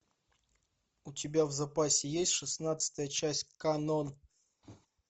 у тебя в запасе есть шестнадцатая часть канон